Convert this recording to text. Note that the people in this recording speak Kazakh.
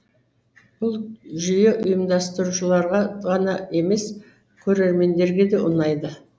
бұл жүйе ұйымдастырушыларға ғана емес көрермендерге де ұнайды